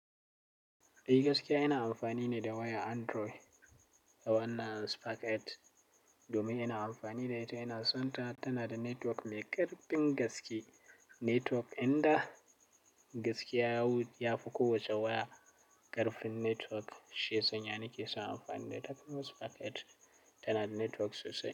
Eh gaskiya ina amfani ne da wayar Android, da wannan Sparkit domin ina amfani da ita, ina son ta. Tana da network mai ƙarfin gaske. Network inda gaskiya yawu ya fi kowace waya, ƙarfin network, shiyansa na ke so amfani da ta. Kuma Sparkit tana da network sosai.